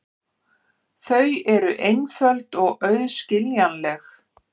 Þau eru einföld og auðskiljanleg.